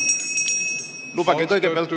Lubage kõigepealt ...